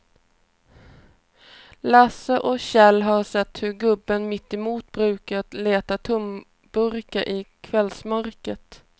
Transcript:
Lasse och Kjell har sett hur gubben mittemot brukar leta tomburkar i kvällsmörkret.